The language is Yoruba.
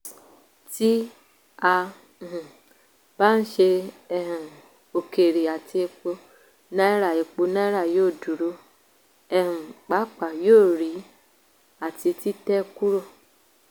tí a um bá ṣe um òkèèrè àti epo náírà epo náírà yóò dúró um pàápàá yóò rí àti títẹ́ kúrò